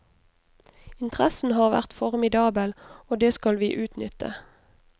Interessen har vært formidabel, og det skal vi utnytte.